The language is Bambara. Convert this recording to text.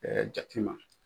jate ma.